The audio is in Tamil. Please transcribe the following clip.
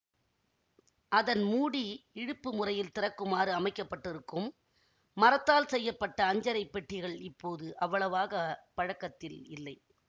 அதன் மூடி இழுப்பு முறையில் திறக்குமாறு அமைக்க பட்டிருக்கும் மரத்தால் செய்ய பட்ட அஞ்சறை பெட்டிகள் இப்போது அவ்வளாகப் பழக்கத்தில் இல்லை